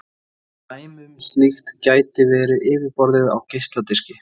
Dæmi um slíkt gæti verið yfirborðið á geisladiski.